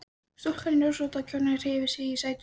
Stúlkan í rósótta kjólnum hreyfði sig í sæti sínu.